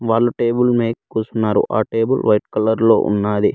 వాళ్ళు టేబుల్ మేక్ కూసున్నారు ఆ టేబుల్ వైట్ కలర్ లో ఉన్నాది.